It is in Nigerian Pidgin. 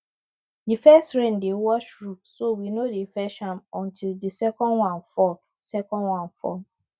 the first rain dey wash roof so we no dey fetch am until the second one fall second one fall